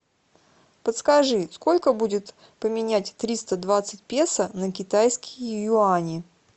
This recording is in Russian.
подскажи сколько будет поменять триста двадцать песо на китайские юани